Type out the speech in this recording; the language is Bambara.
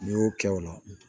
N'i y'o kɛ o la